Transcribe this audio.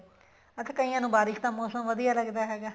ਵੈਸੇ ਕਈਆਂ ਨੂੰ ਬਾਰਿਸ਼ ਦਾ ਮੋਸਮ ਵਧੀਆ ਲੱਗਦਾ ਹੈਗਾ